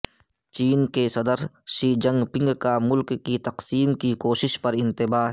چین کے صدر Xi Jinping کا ملک کی تقسیم کی کوشش پر انتباہ